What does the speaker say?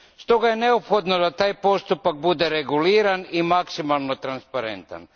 Stoga je neophodno da taj postupak bude reguliran i maksimalno transparentan.